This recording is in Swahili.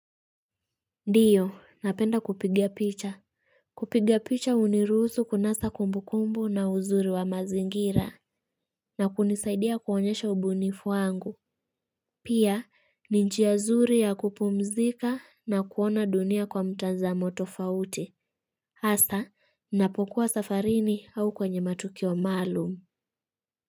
Ndiyo, napenda kupiga picha. Kupigia picha uniruhusu kunasa kumbukumbu na uzuri wa mazingira. Na kunisaidia kuonyesha ubunifu wangu. Pia, ni njia zuri ya kupumzika na kuona dunia kwa mtazamo tofauti. Asa, napokuwa safarini au kwenye matukio maalumu.